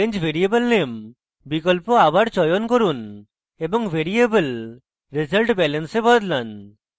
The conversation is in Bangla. change variable name বিকল্প আবার চয়ন করুন এবং ভ্যারিয়েবল resultbalance এ বদলান